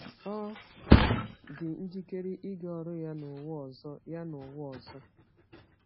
Ọ dị njikere ịga ọrụ ya n’ụwa ọzọ. ya n’ụwa ọzọ.